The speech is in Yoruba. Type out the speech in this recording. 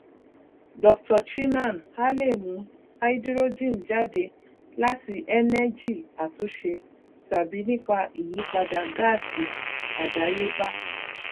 dr chinnan a lè mú háídírójìn jáde láti ẹnẹgì àtúnṣe tàbí nípa ìyípadà gáàsì àdáyébá